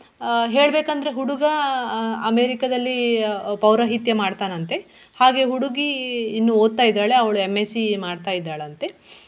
ಆಹ್ ಹೇಳ್ಬೇಕಂದ್ರೆ ಹುಡುಗ ಆಹ್ ಅಮೇರಿಕದಲ್ಲಿ ಪೌರಹಿತ್ಯೆ ಮಾಡ್ತಾನಂತೆ ಹಾಗೆ ಹುಡುಗಿ ಇನ್ನೂ ಓದ್ತಾ ಇದ್ದಾಳೆ ಅವಳು M.Sc ಮಾಡ್ತಾಯಿದ್ದಾಳಂತೆ.